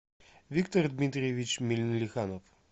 виктор дмитриевич милиханов